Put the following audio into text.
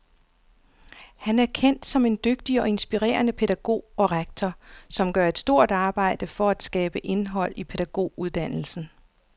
Han er kendt som en dygtig og inspirerende pædagog og rektor, som gør et stort arbejde for at skabe indhold i pædagoguddannelsen.